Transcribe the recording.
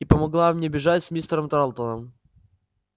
и помогла мне бежать с мистером тарлтоном